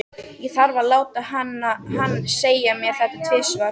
Ég þarf að láta hann segja mér þetta tvisvar.